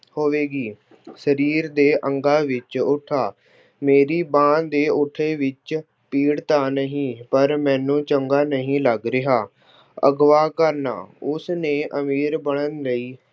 ਹੋਵੇਗੀ। ਸਰੀਰ ਦੇ ਅੰਗਾਂ ਵਿੱਚ ਉੱਠਾ- ਮੇਰੀ ਬਾਂਹ ਦੇ ਉੱਠੇ ਵਿੱਚ ਪੀੜ ਤਾਂ ਨਹੀਂ, ਪਰ ਮੈਨੂੰ ਚੰਗਾ ਨਹੀਂ ਲੱਗ ਰਿਹਾ। ਅਗਵਾਹ ਕਰਨਾ- ਉਸਨੇ ਅਮੀਰ ਬਣਨ ਲਈ